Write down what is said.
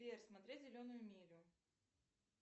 сбер смотреть зеленую милю